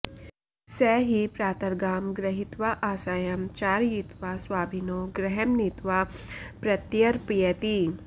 स हि प्रातर्गां गृहीत्वा आसायं चारयित्वा स्वाभिनो गृहं नीत्वा प्रत्यर्पयति